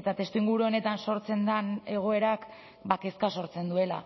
eta testuinguru honetan sortzen den egoerak kezka sortzen duela